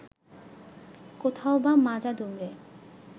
কোথাওবা মাজা দুমড়ে